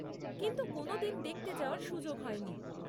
কিন্তু কোনোদিন দেখতে যাওয়ার সুযোগ হয়নি।